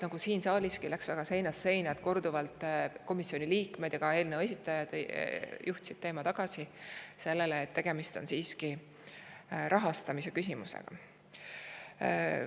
Nagu siin saaliski läks ka komisjonis see teema seinast seina ning komisjoni liikmed ja eelnõu esitajad juhtisid korduvalt tähelepanu sellele, et tegemist on siiski rahastamise küsimusega.